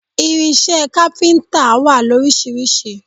Irinṣẹ́ kápíntà wà lóríṣiríṣi